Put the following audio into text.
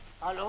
Alo?